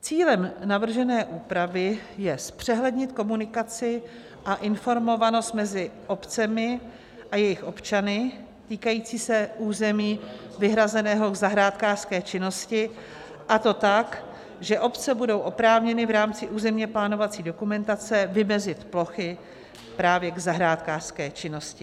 Cílem navržené úpravy je zpřehlednit komunikaci a informovanost mezi obcemi a jejich občany týkající se území vyhrazeného k zahrádkářské činnosti, a to tak, že obce budou oprávněny v rámci územně plánovací dokumentace vymezit plochy právě k zahrádkářské činnosti.